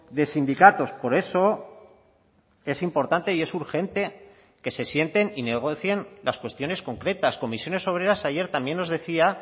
de sindicatos por eso es importante y es urgente que se sienten y negocien las cuestiones concretas comisiones obreras ayer también nos decía